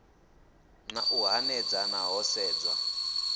na u hanedzana ho sedzwa